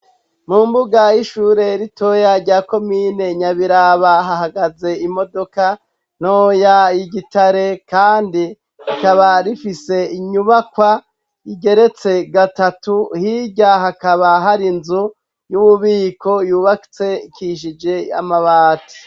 Mu mbuga y'ishure ritoya rya ko mine nyabiraba hahagaze imodoka noya i gitare, kandi ikaba rifise inyubakwa igeretse gatatu hirya hakaba hari nzu y'umubiko yubatse ikishije amabati.